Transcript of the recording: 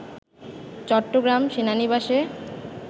চট্টগ্রাম সেনানিবাসে